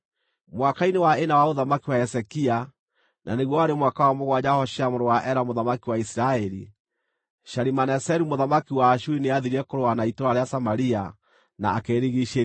Mwaka-inĩ wa ĩna wa ũthamaki wa Hezekia, na nĩguo warĩ mwaka wa mũgwanja wa Hoshea mũrũ wa Ela mũthamaki wa Isiraeli, Shalimaneseru mũthamaki wa Ashuri nĩathiire kũrũa na itũũra rĩa Samaria na akĩrĩrigiicĩria.